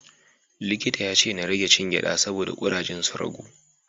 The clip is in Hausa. Likita ya ce na rage cin gyaɗa saboda ƙurajen su ragu.